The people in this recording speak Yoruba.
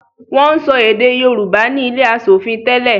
Wọn ń sọ èdè Yorùbá ni ilé asòfin tẹ́lẹ̀